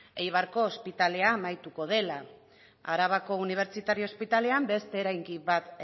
eibarko ospitalea amaituko dela arabako unibertsitario ospitalean beste eraikin bat